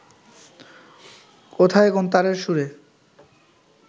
কোথায় কোন তারের সুরে